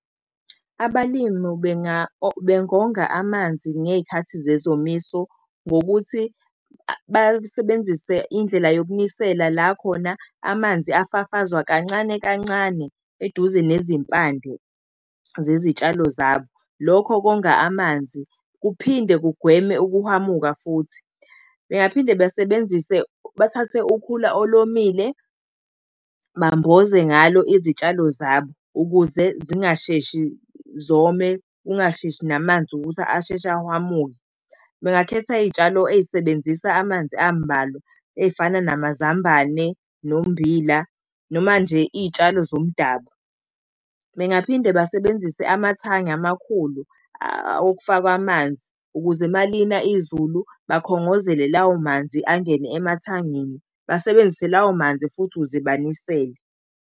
Abalimi bengonga amanzi ngey'khathi zezomiso ngokuthi basebenzise indlela yokunisela la khona amanzi afafazwe kancane kancane eduze nezimpande zezitshalo zabo. Lokho konga amanzi, kuphinde kugweme ukuhwamuka futhi. Bengaphinde bathathe ukhula olomile, bamboze ngalo izitshalo zabo ukuze zingasheshi zome, kungasheshi namanzi ukuthi asheshe ahwamuke. Bengakhetha iy'tshalo ey'sebenzisa amanzi ambalwa, ey'fana namazambane nommbila, noma nje iy'tshalo zomdabu, bengaphinda basebenzise amathangi amakhulu, okufakwa amanzi. Ukuze uma lina izulu, bakhongozele lawo manzi angene emathangini basebenzise lawo manzi futhi ukuze banisele.